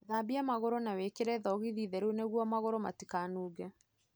Thambia magũrũ na wĩkĩre thogithi theru nĩguo magũrũ matikanunge.